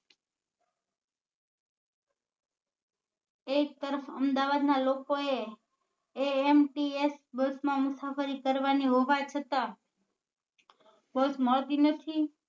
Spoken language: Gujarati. એક તરફ અમદાવાદ ના લોકો એ ants બસ માં મુસાફરી કરવા ની હોવા છતા બસ મળતી નથી